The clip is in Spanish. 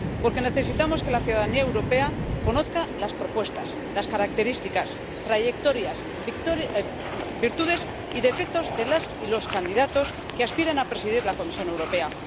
Porque necesitamos que la ciudadanía europea conozca las propuestas, las características, las trayectorias, las virtudes y los defectos de las y los candidatos que aspiran a presidir la Comisión Europea.